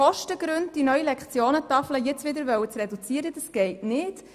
Die neue Lektionentafel aus Kosten gründen wieder zu reduzieren, geht nicht.